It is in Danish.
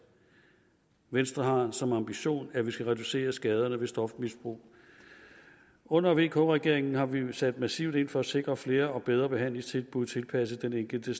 venstre har som ambition at man skal reducere skaderne ved stofmisbrug under vk regeringen har vi sat massivt ind for at sikre flere og bedre behandlingstilbud tilpasset den enkelte